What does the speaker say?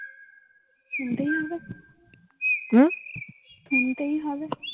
শুনতেই হবে